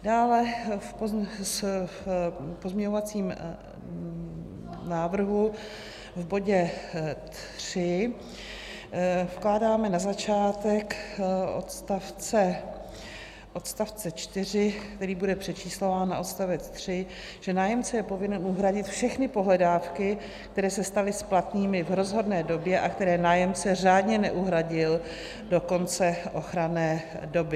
Dále v pozměňovacím návrhu v bodě 3 vkládáme na začátek odstavce 4, který bude přečíslován na odstavec 3, že nájemce je povinen uhradit všechny pohledávky, které se staly splatnými v rozhodné době a které nájemce řádně neuhradil do konce ochranné doby.